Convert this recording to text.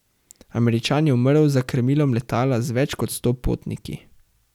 Američan je umrl za krmilom letala z več kot sto potniki.